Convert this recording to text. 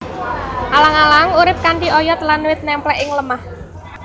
Alang alang urip kanthi oyot lan wit nemplek ing lemah